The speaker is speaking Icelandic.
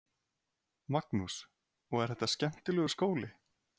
Magnús: Og er þetta skemmtilegur skóli?